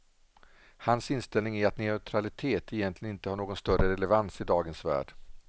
Hans inställning är att neutralitet egentligen inte har någon större relevans i dagens värld.